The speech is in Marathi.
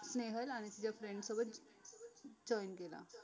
स्नेहल आणि तिझ्या friends सोबत join केला